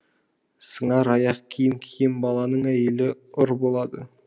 сыңар аяқ киім киген баланың әйелі ұры болады